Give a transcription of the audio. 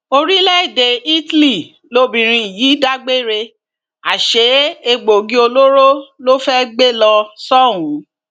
orílẹèdè italy lobìnrin yìí dágbére àsè egbòogi olóró ló fẹẹ gbé lọ sóhun